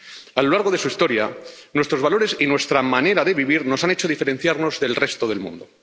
A lo largo de su historia, nuestros valores y nuestra manera de vivir nos han hecho diferenciarnos del resto del mundo.